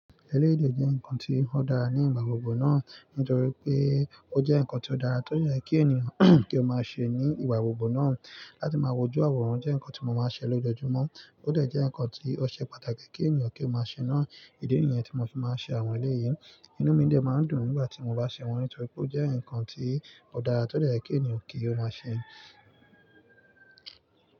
Eléyìí dẹ̀ jẹ́ nǹkan tí ó dára ní ìgbà gbogbo náà. Nítorí pé ó jẹ́ nǹkan tí ó dára tó dẹ̀ yẹ kí ènìyàn kí ó máa ṣe ní ìgbà gbogbo náà. Láti máa wojú àwòrán jẹ́ nǹkan tí mo máa ń ṣe lójoojúmọ́. Ó dẹ̀ jẹ́ nǹkan tí ó ṣe pàtàkì kí ènìyàn kí ó máa ṣe náà. Ìdí nìyẹn tí mo fi máa ń ṣe àwọn eléèyí. Inú mi dẹ̀ máa ń dùn nígbà tí mo bá ṣe wọ́n, nítorí pé ó jẹ́ nǹkan tí ó dára tó dẹ̀ yẹ kí ènìyàn kí ó máa ṣe.